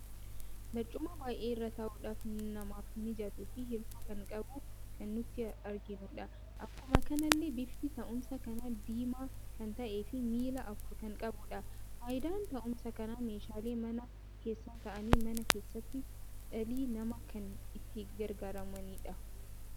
Barcuma baay'ee irra taa'uudhaf namaf mijattu fi hirkoo kan qabduu kan nuti arginudha. Akkuma kanallee bifti taa'uumsa kana diimaa kan ta'ee fi miilla afur kan qabudha. Faayidaan taa'uumsa kana meeshaalee mana keessa ta'aani mana keessatti dhalli nama kan itti gargaaramanidha.